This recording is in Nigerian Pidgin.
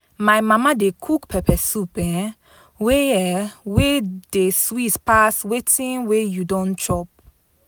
My mama dey cook pepper soup um wey um wey dey sweet pass wetin we you don chop.